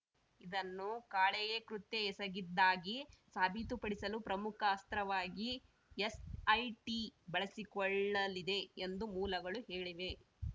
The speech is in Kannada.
ಇದನ್ನು ಕಾಳೆಯೇ ಕೃತ್ಯ ಎಸಗಿದ್ದಾಗಿ ಸಾಬೀತುಪಡಿಸಲು ಪ್ರಮುಖ ಅಸ್ತ್ರವಾಗಿ ಎಸ್‌ಐಟಿ ಬಳಸಿಕೊಳ್ಳಲಿದೆ ಎಂದು ಮೂಲಗಳು ಹೇಳಿವೆ